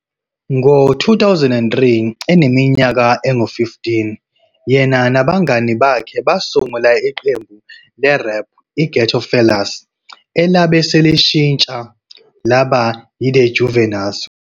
Ngo-2003, eneminyaka engu-15, yena nabangane bakhe basungula iqembu le-rap iGhetto Fellaz elabe selishintsha laba yiThe Juvenylz, ngo-2003.